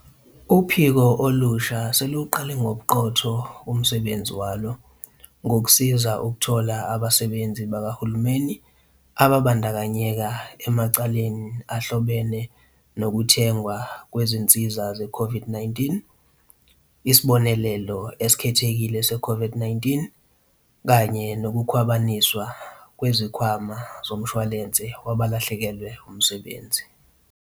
Uphiko olusha seluwuqale ngobuqotho umsebenzi walo, ngokusiza ukuthola abasebenzi bakahulumeni ababandakanyeka emacaleni ahlobene nokuthengwa kwezinsiza zeCOVID-19, isibonelelo esikhethekile se-COVID-19 kanye nokukhwabaniswa kweSikhwama Somshwalense Wabalahlekelwe Umsebenzi.